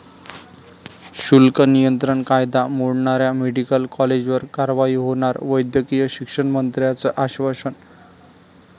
शुल्क नियंत्रण कायदा मोडणाऱ्या मेडिकल कॉलेजवर कारवाई होणार, वैद्यकीय शिक्षणमंत्र्यांचं आश्वासन